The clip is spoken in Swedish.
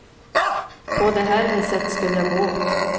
På det här viset skulle jag gå åt.